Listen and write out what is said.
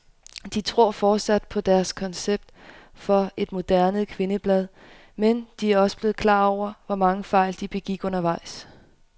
De tror fortsat på deres koncept for et moderne kvindeblad, men de er også blevet klar over, hvor mange fejl de begik undervejs.